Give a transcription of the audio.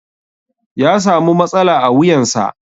Ya samu matsala a wuyansa.